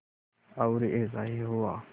और ऐसा ही हुआ